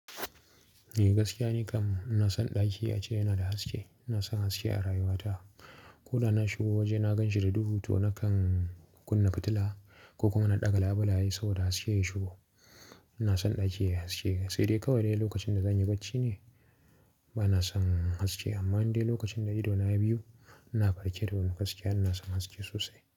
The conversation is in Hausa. Gaskiya ni kam ina son ɗaki ace yana da haske. Ina son haske a rayuwata. Ko da na shigo waje na ganshi da duhu to nakan kunna fitila ko kuma na ɗaga labulaye saboda haske ya shigo. Ina son ɗaki ya yi haske. Sai dai kawai dai lokacin da zanyi bacci ne bana son haske amma indai lokacin da ido na ya biyu ina farke to gaskiya ina son haske sosai.